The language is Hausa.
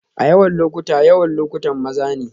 A yawan lokuta, yawan lokutan maza ne